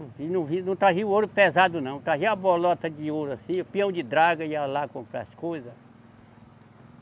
E não via, não trazia o ouro pesado não, trazia a bolota de ouro assim, o peão de draga, ia lá comprar as coisa.